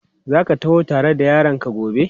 Za ka taho tare da yaranka gobe?